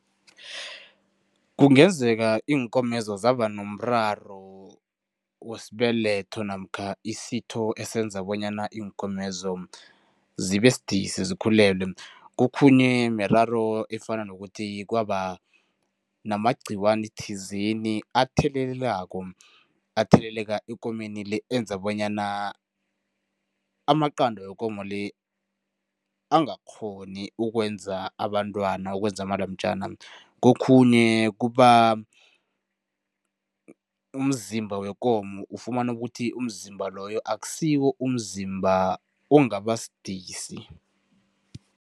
Kungenzeka iinkomezi zaba nomraro wesibeletho namkha isitho esenza bonyana iinkomezo zibe sidisi, zikhulelwe. Kokhunye miraro efana nokuthi kwaba namagcikwane athizeni athelelako, atheleleka ekomeni le enza bonyana amaqanda wekomo le, angakghoni ukwenza abantwana, ukwenza amalamjana. Kokhunye kuba mzimba wekomo, ufumana ukuthi umzimba loyo akusiwo umzimba ongabasidisi.